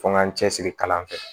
Fo n ka cɛsiri kalan kɛ